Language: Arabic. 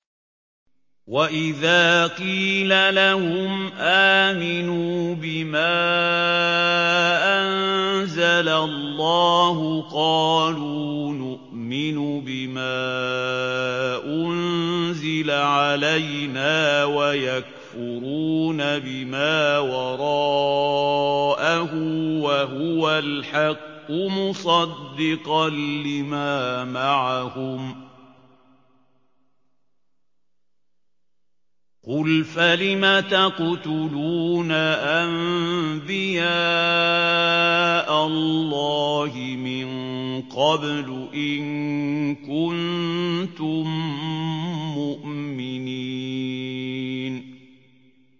وَإِذَا قِيلَ لَهُمْ آمِنُوا بِمَا أَنزَلَ اللَّهُ قَالُوا نُؤْمِنُ بِمَا أُنزِلَ عَلَيْنَا وَيَكْفُرُونَ بِمَا وَرَاءَهُ وَهُوَ الْحَقُّ مُصَدِّقًا لِّمَا مَعَهُمْ ۗ قُلْ فَلِمَ تَقْتُلُونَ أَنبِيَاءَ اللَّهِ مِن قَبْلُ إِن كُنتُم مُّؤْمِنِينَ